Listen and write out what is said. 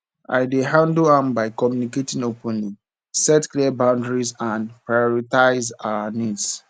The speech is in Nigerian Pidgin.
i dey handle am by communicating openly set clear boundaries and prioritize our needs